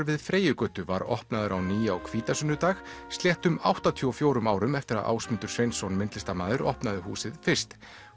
við Freyjugötu var opnaður á ný á hvítasunnudag sléttum áttatíu og fjórum árum eftir að Ásmundur Sveinsson myndlistarmaður opnaði húsið fyrst